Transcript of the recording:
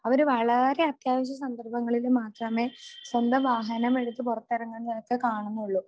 അവര് വളരെ അത്യാവശ്യ സന്ദർഭങ്ങളില് മാത്രമേ സ്വന്തം വാഹനം എടുത്ത് പുറത്തിറങ്ങുന്നതൊക്കെ കാണുന്നുള്ളൂ.